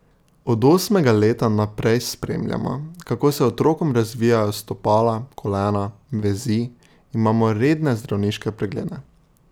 Od osmega leta naprej spremljamo, kako se otrokom razvijajo stopala, kolena, vezi, imamo redne zdravniške preglede.